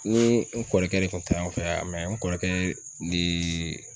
Ni n kɔrɔkɛ de kun taa ɲɔɔn fɛ n kɔrɔkɛ nee